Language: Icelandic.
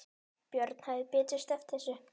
Björn hefði betur sleppt þessu.